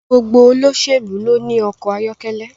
Gbogbo olóṣèlú ló ní ọkọ̀ ayọ́kẹ́lẹ́